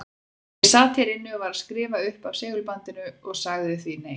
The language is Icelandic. Ég sat hér inni og var að skrifa upp af segulbandinu og sagði því nei.